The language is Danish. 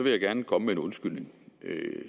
jeg gerne komme med en undskyldning